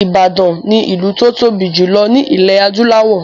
Ìbàdàn ni ìlú tó tóbi jù lọ ní ilẹ̀ adúláwọ̀.